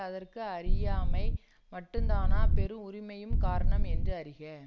அதற்கு அறியாமை மட்டுந்தானா பெரும் உரிமையும் காரணம் என்று அறிக